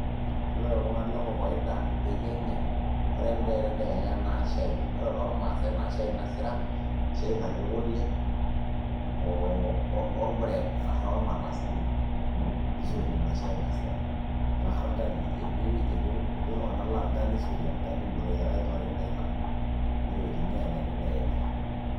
Ore toltung'ani le kokoida le Kenya ore endaa etedekenya naa shaai ore tormaasai naa shai nasira shai natii kule oo bread ashu ormandasini nisotie ina shai nasira arashu orgali etii iltung'anak laa orgali isotie, orgali loteyiaraki kewarie niirag neyookini aanya tedekenya.